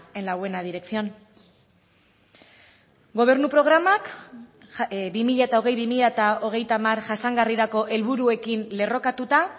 en la buena dirección gobernu programak bi mila hogei bi mila hogeita hamar jasangarrirako helburuekin lerrokatuta